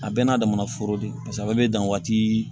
A bɛɛ n'a damana foro de ye pase ale bɛ dan waati